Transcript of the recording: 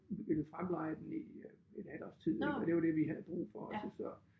Ville fremleje den i et halvt års tid ik og det var det vi havde brug for også så